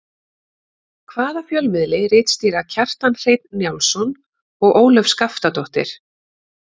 Hvaða fjölmiðli ritstýra Kjartan Hreinn Njálsson og Ólöf Skaftadóttir?